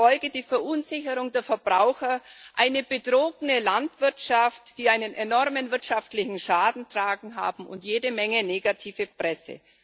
Die Folgen wären eine Verunsicherung der Verbraucher, eine betrogene Landwirtschaft, die einen enormen wirtschaftlichen Schaden zu tragen hat, und jede Menge negative Presse.